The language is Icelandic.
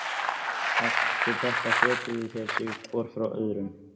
Eftir þetta fetuðu þeir sig hvor frá öðrum.